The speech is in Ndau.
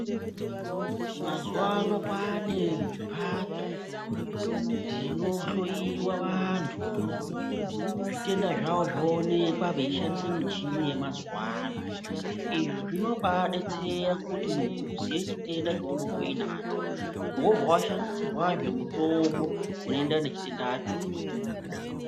Mazuwano kwaane mhatso dzinohloyiwa vantu, zvitenda zvavo zvoonekwa veishandisa michini yemazuwano izvi zvinobaadetsera kuti muntu uziye chitenda chounonga unacho wobva washandisirwazve mutombo unoenererana nechitenda chaunonga unacho.